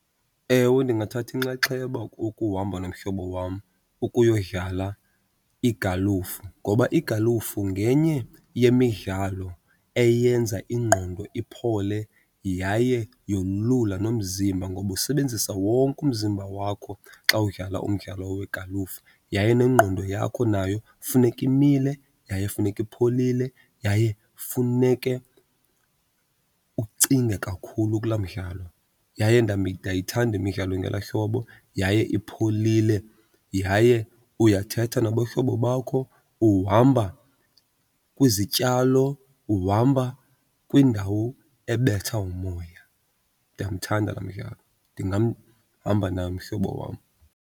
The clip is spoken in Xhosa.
Ewe, ndingathatha inxaxheba ukuhamba nomhlobo wam ukuyodlala igalufu. Ngoba igalufu ngenye yemidlalo eyenza ingqondo iphole yaye yolula nomzimba ngoba usebenzisa wonke umzimba wakho xa udlala umdlalo wegalufa. Yaye nengqondo yakho nayo funeke imile, yaye funeka ipholile, yaye funeke ucinge kakhulu kulaa mdlalo. Yaye ndayithanda imidlalo engelaa hlobo, yaye ipholile, yaye uyathetha nabahlobo bakho. Uhamba kwizityalo, uhamba kwindawo ebetha umoya. Ndiyamthanda laa mdlalo, ndingamhamba naye umhlobo wam.